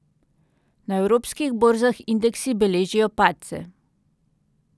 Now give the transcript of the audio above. Na evropskih borzah indeksi beležijo padce.